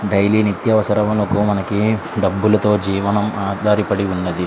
Daily నిత్య అవసరాకి మనకి డబ్బులతో ఆధారపడి ఉన్నదీ.